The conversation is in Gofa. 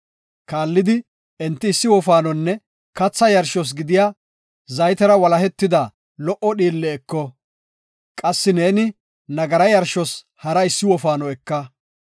Kaallidi enti issi wofaanonne katha yarshos gidiya zaytera walahetida lo77o dhiille eko; qassi neeni nagara yarshos hara issi wofaano eka.